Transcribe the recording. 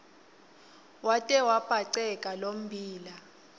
wate wabhaceka lommbila